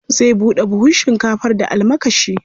Zai buɗe buhun shinkafar da almakashi.